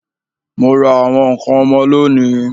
Ó ra àwọn ǹkan ọmọ lónìí